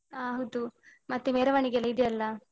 ಅಹ್ ಹೌದು. ಮತ್ತೆ ಮೆರವಣಿಗೆ ಎಲ್ಲ ಇದ್ಯಲ್ಲ.